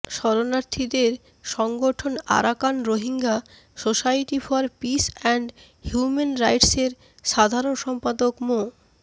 শরণার্থীদের সংগঠন Arakan Rohingya society for peace and human রাইটসের সাধারণ সম্পাদক মো